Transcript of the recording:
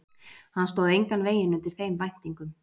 Hann stóð engan veginn undir þeim væntingum.